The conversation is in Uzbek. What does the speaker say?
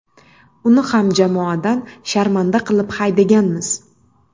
Uni ham jamoadan sharmanda qilib haydaganmiz.